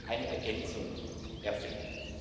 eine Ergänzung erfährt.